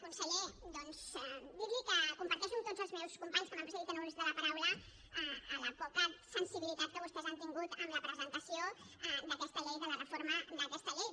conseller doncs dir li que comparteixo amb tots els meus companys que m’han precedit en l’ús de la paraula la poca sensibilitat que vostès han tingut amb la presentació d’aquesta llei de la reforma d’aquesta llei